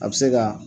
A bɛ se ka